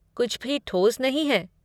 कुछ भी ठोस नहीं है।